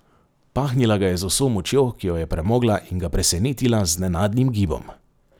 Pahnila ga je z vso močjo, ki jo je premogla, in ga presenetila z nenadnim gibom.